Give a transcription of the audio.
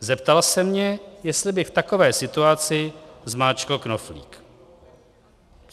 Zeptal se mě, jestli bych v takovéhle situaci zmáčkl knoflík.